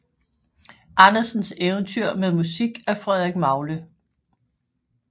Andersens eventyr med musik af Frederik Magle